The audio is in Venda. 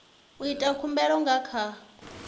u ita khumbelo nga kha